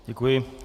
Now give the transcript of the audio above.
Děkuji.